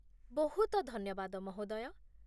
ବହୁତ ଧନ୍ୟବାଦ, ମହୋଦୟ!